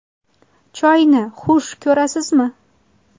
Choyni xush ko‘rasizmi?